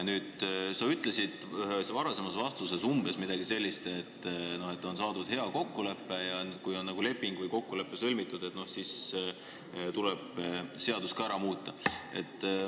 Nüüd, sa ütlesid ühes varasemas vastuses umbes midagi sellist, et on saadud hea kokkulepe ja kui see on sõlmitud, siis tuleb seadus ka ära muuta.